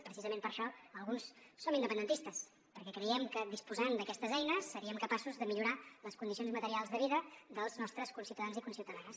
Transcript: precisament per això alguns som independentistes perquè creiem que disposant d’aquestes eines seríem capaços de millorar les condicions materials de vida dels nostres conciutadans i conciutadanes